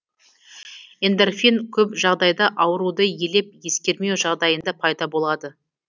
эндорфин көп жағдайда ауруды елеп ескермеу жағдайында пайда болады